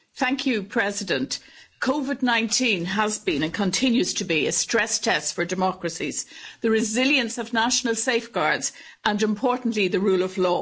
Madam President, COVID 19 has been and continues to be a stress test for democracies, the resilience of national safeguards and, importantly, the rule of law.